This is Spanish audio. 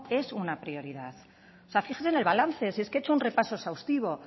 es una prioridad o sea fíjese en el balance si es que he hecho un repaso exhaustivo